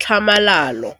tlhamalalo.